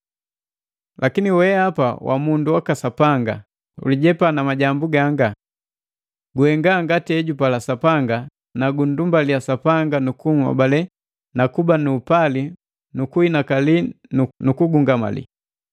Lakini weapa wa mundu waka Sapanga, ulijepa na majambu gaanga. Guhenga ngati ejupala Sapanga na gundumbaliya Sapanga nukunhobale na kuba nu upali nukuhinakali nu nukugungamali.